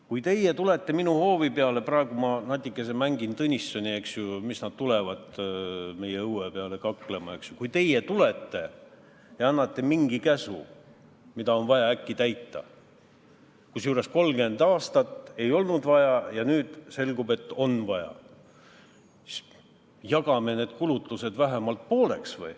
Kui teie tulete minu hoovi peale – praegu ma natikese mängin Tõnissoni, eks ju, et mis nad tulevad meie õue peale kaklema – ja annate mingi käsu, mida on vaja äkki täita, kusjuures 30 aastat ei olnud vaja ja nüüd selgub, et on vaja, siis jagame need kulutused vähemalt pooleks.